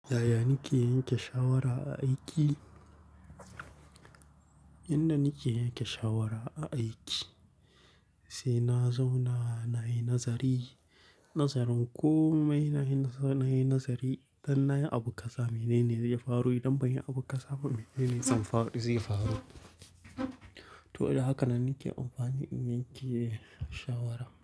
Yaya nake yanke shawara a aiki? Inda nike yanke shawara a aiki, sai na zauna nayi nazari. Nazarin komai sai nayi nazari. Dan nayi abun kaza menene zai faru idan banyi abun kaza ba menene zai faru, zai faru. To dai hakanan nike amfani in yanke shawara.